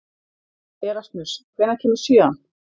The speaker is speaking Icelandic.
Erasmus, hvenær kemur sjöan?